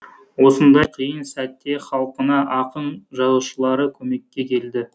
осындай қиын сәтте халқына ақын жазушылары көмекке келді